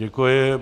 Děkuji.